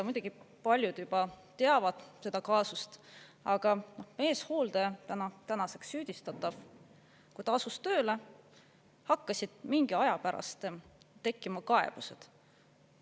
Muidugi paljud juba teavad seda kaasust, aga meeshooldaja, tänaseks süüdistatav, kui ta asus tööle, hakkasid mingi aja pärast tekkima kaebused.